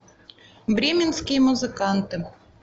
бременские музыканты